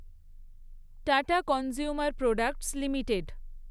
tata consumer products limited